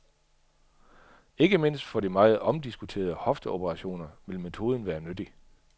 Ikke mindst for de meget omdiskuterede hofteoperationer vil metoden være nyttig.